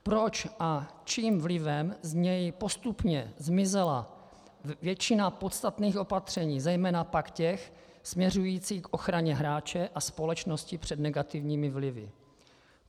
Proč a čím vlivem z něj postupně zmizela většina podstatných opatření, zejména pak těch směřujících k ochraně hráče a společnosti před negativními vlivy?